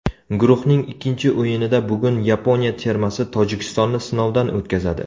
Guruhning ikkinchi o‘yinida bugun Yaponiya termasi Tojikistonni sinovdan o‘tkazadi.